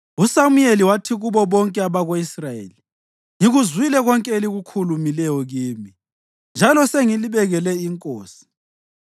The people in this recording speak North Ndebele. USamuyeli wathi kubo bonke abako-Israyeli, “Ngikuzwile konke elikukhulumileyo kimi njalo sengilibekele inkosi.